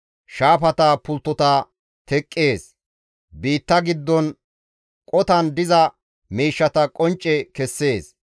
Shaafata pulttota teqqees; biitta giddon qotan diza miishshata qoncce kessees.